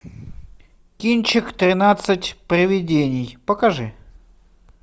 кинчик тринадцать привидений покажи